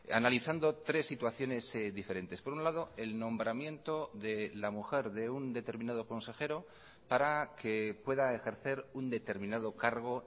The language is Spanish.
analizando tres situaciones diferentes por un lado el nombramiento de la mujer de un determinado consejero para que pueda ejercer un determinado cargo